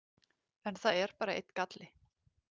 En það er bara einn galli.